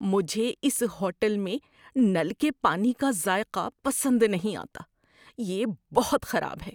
مجھے اس ہوٹل میں نل کے پانی کا ذائقہ پسند نہیں آتا، یہ بہت خراب ہے۔